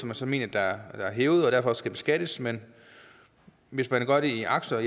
man så mener er hævet og derfor skal beskattes men hvis man gør det i aktier